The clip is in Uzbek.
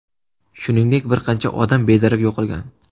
Shuningdek, bir qancha odam bedarak yo‘qolgan.